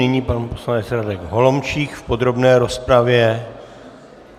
Nyní pan poslanec Radek Holomčík v podrobné rozpravě.